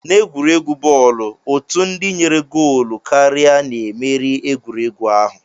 N'egwuregwu bọọlụ, otu ndị nyere goolu karịa na-emeri egwuregwu ahụ